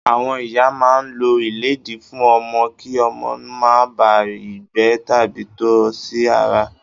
Àwọn ìyá máa ń lo ìlédìí fún ọmọ kí ọmọ máa bà á ìgbẹ́ tàbí tọ̀ sí ara.